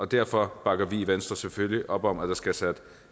derfor bakker vi i venstre selvfølgelig op om at der skal sættes